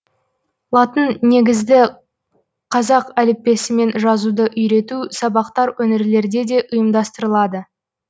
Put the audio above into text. латын негізді қазақ әліппесімен жазуды үйрету сабақтар өңірлерде де ұйымдастырылады